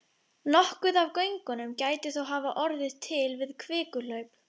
Nokkuð af göngunum gæti þó hafa orðið til við kvikuhlaup.